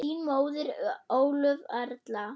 Þín móðir, Ólöf Erla.